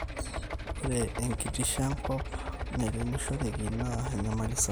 ore enkitisho enkop nairemishoreki naa enyamali sapuk